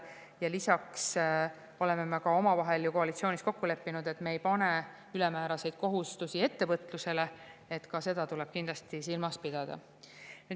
Ja lisaks oleme me ka omavahel ju koalitsioonis kokku leppinud, et me ei pane ülemääraseid kohustusi ettevõtlusele, ka seda tuleb kindlasti silmas pidada.